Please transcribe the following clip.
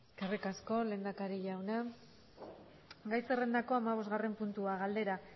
eskerrik asko lehendakari jauna gai zerrendako hamabosgarren puntua galdera